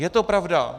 Je to pravda.